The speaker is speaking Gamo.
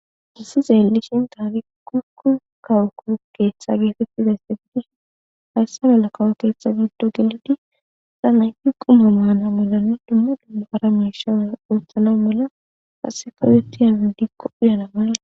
Hayisan ta be ashe betizayisi kuku kawo ketha gida mala hayisa malan quma manawunne hara misha qasika uyetiyabi diko uyana mala